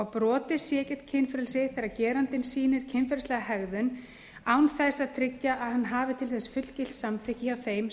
brotið sé gegn kynfrelsi þegar gerandinn sýnir kynferðislega hegðun án þess að tryggja að hann hafi til þess fullgilt samþykki hjá þeim